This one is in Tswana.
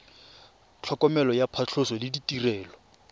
tlhokomelo ya phatlhoso le ditirelo